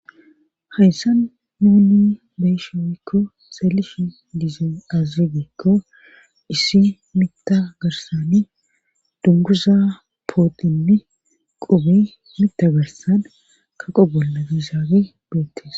Hayssan muuni beyshoykko seelish diza aziregiekko issi mitagarsani dunguza pootinni qubi mita garsan kaqo bolla gizaabe beettes.